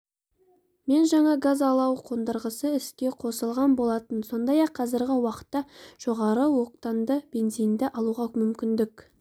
мен жаңа газ-алау қондырғысы іске қосылған болатын сондай-ақ қазіргі уақытта жоғары октанды бензинді алуға мүмкіндік